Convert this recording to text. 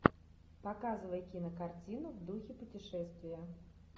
показывай кинокартину в духе путешествия